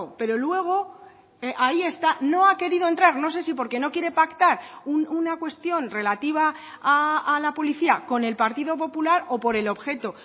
pero luego ahí está no ha querido entrar no sé si porque no quiere pactar una cuestión relativa a la policía con el partido popular o por el objeto